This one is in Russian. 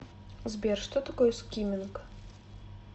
сбер что такое скимминг